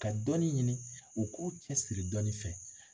Ka dɔnnin ɲini, u k'u cɛ siri dɔnnin fɛ.